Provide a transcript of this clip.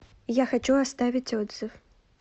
я хочу оставить отзыв